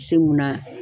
Se munna